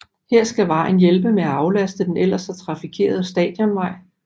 Her skal vejen hjælpe med at aflaste den ellers så trafikerende Stadionvej